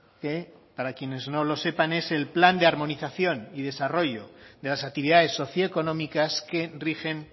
que para quienes no lo sepan es el plan de armonización y desarrollo de las actividades socioeconómicas que rigen